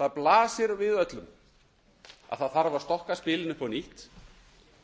það blasir við öllum að stokka þarf spilin upp á nýtt